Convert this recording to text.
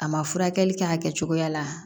A ma furakɛli kɛ a kɛ cogoya la